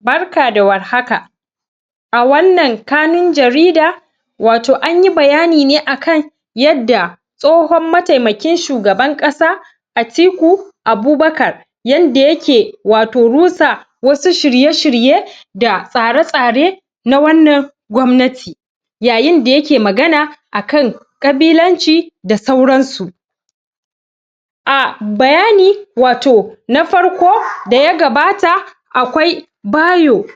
barka da war haka a wan nan kanun jarida wato anyi bayani ne akan yadda tsohon mataimakin shugaban kasa Atiku Abubakar yadda yake wato rusa wasu shirye-shirye da tsare tsare na wan nan kwamnati yayin da yake magana akan kabilanci da sauran su a bayani wato na farko da ya gabata, a kwai Bayo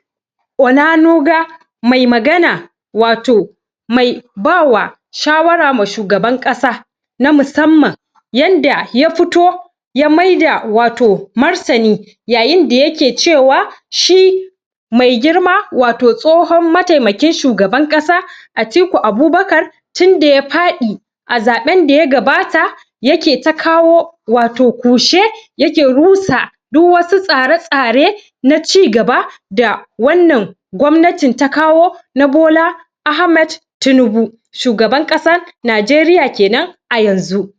Onanuga mai magana wa to mai bama shawara ga shugaban kasa na musamman yadda ya fito ya maida wato martani yayin da yake cewa shi mai girma wato tsohon mataimakin shugaban kasa Atiku Abubakar tun da ya fadi a zaben da ya gabata yake ta kawo wato kushe yake rusa duk wasu tsare tsare na ci gaba da wan nan kwannati ta kawo na na Bola Ahmed Tinubu shugaban kasan Nigeria kenan a yanzu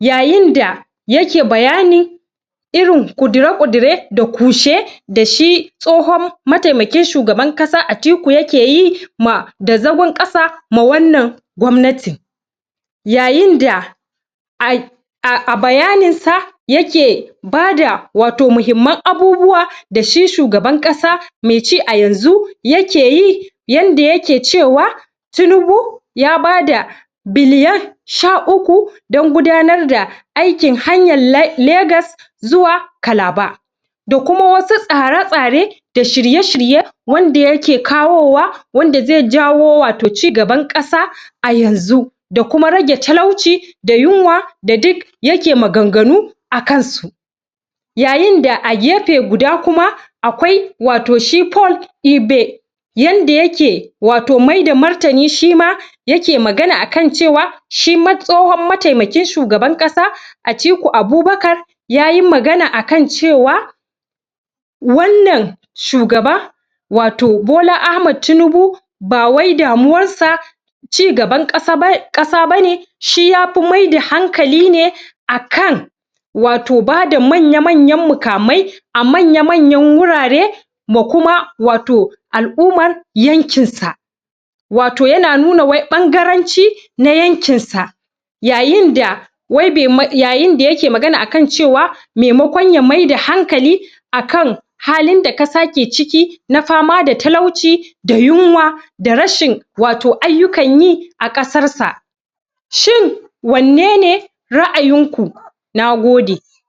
yayin da yake bayani irin kudire-kudire da kushe, da shi da shi tsohon mataimaki n shugaban kasa Atiku ya keyi da zagon kasa ma wan nan kwamnati yayin da a bayanin sa yake bada wato muhimman abubuwa da shi shugaban kasa mai ci a yanzu yake yi yan da yake cewa Tinubu ya bada billion sha uku dan gudanar da aikin hanyan Lagos zuwa kalaba da kuma wasu tsare-tsare da shirye shirye wanda yake kawowa wanda zai kaho ci gaban kasa a yan zu da kuma rage talauci da yunwa da duk yake magan ganu a kan su yayin da a gefe guda kuma, akwai wato shi Pole Ibe yanda yake wato maida martani shima yake magana akan cewa shi tsowon matemakin shugaban kasa Atiku Abubakar yayi magana akan cewa wan nan shugaba wato Bola Ahmed Tinubu, bawai damuwar sa ci gaban kasa bane shi yafi maida hankali ne akan wato bada manya manyan mukamai a manyan manyan hurare da kuma wato Alumman yankin sa wato yana nuna wai bangaranci na yankinsa yayin da wai yayin da yake magana akan cewa maimakon ya maida hankalin akan halin da kasa take ciki na fama da talauci da yunwa da rashin aiyukan yi a kasan sa shin wan ne ne raayin ku na gode